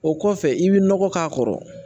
O kɔfɛ i bɛ nɔgɔ k'a kɔrɔ